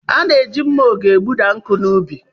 A na-eji mma oge egbuda nkụ n'ubi.